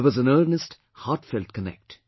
There was an earnest heartfelt connect